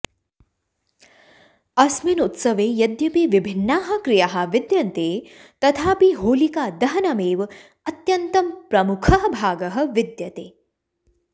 अस्मिन् उत्सवे यद्यपि विभिन्नाः क्रियाः विद्यन्ते तथापि होलिकादहनम् एव अत्यन्तं प्रमुखः भागः विद्यते